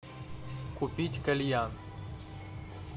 купить кальян